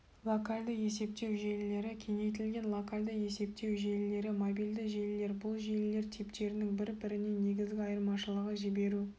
локальды есептеу желілері кеңейтілген локальды есептеу желілері мобильді желілер бұл желілер типтерінің бір-бірінен негізгі айырмашылығы жіберу